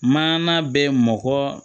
Maana bɛ mɔgɔ